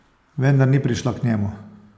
Vendar ni prišla k njemu.